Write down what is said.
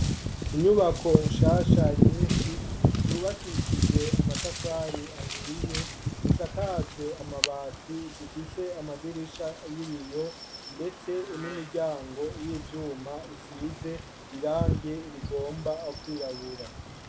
Inyubako nshasha nyinshi zubakishije amatafari ahiye, zisakajwe amabati , zifise amadirisha y'ibiyo ndetse n'imiryango y'ivyuma isize irange rigomba kwirabura.